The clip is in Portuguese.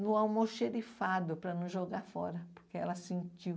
no almoxerifado, para não jogar fora, porque ela sentiu.